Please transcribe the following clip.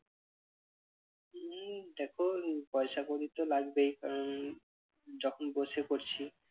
হম দেখো পয়সা করি তো লাগবেই কারণ যখন বসে করছি।